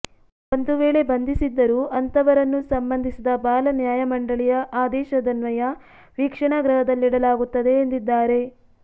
ಒಂದು ವೇಳೆ ಬಂಧಿಸಿದ್ದರೂ ಅಂತವರನ್ನು ಸಂಬಂಧಿಸಿದ ಬಾಲ ನ್ಯಾಯಮಂಡಳಿಯ ಆದೇಶದನ್ವಯ ವೀಕ್ಷಣಾ ಗೃಹದಲ್ಲಿಡಲಾಗುತ್ತದೆ ಎಂದಿದ್ದಾರೆ